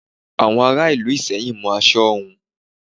Àwọn ará Ìlú Ìsẹ́yìn mọ aṣọ hun.